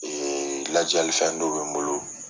lajali fɛn dɔ bɛ n bolo.